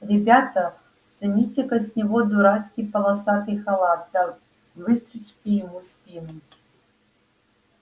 ребята сымите-ка с него дурацкий полосатый халат да выстрочите ему спину